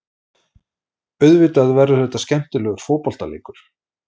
Auðvitað verður þetta skemmtilegur fótboltaleikur.